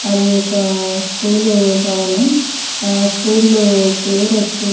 అది ఒక స్కూల్ భవనం ఆ స్కూల్ పేరు వచ్చే --